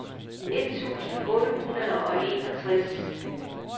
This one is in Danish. et tusind otte hundrede og enogtres